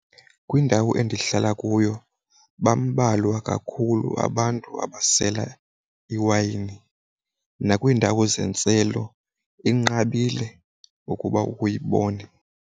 Kwindawo endihlala kuyo bambalwa kakhulu abantu abasela iwayini nakwiindawo zentselo inqabile ukuba uyibone.